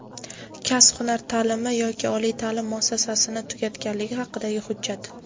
kasb-hunar ta’limi yoki oliy ta’lim muassasasini tugatganligi haqidagi hujjat;.